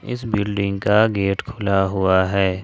इस बिल्डिंग का गेट खुला हुआ है।